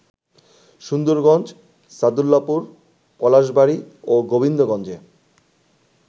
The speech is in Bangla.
সুন্দরগঞ্জ, সাদুল্লাপুর, পলাশবাড়ী ও গোবিন্দগঞ্জে